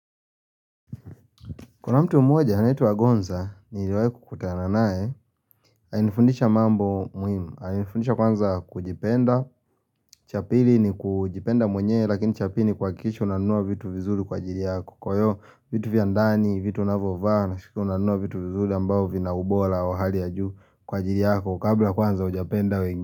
Kuna mtu mmoja anaitwa Agonza niliwahi kukutana naye Alinifundisha mambo muhimu alinifundisha kwanza kujipenda cha pili ni kujipenda mwenye lakini cha pili ni kuhakikisha unanunua vitu vizuri kwa ajili yako Kwa hiyo vitu vya ndani, vitu unavyovaa na siku unanunua vitu vizuri ambavyo vinaubora wa hali ya juu kwa ajili yako kabla kwanza hujapenda wengi.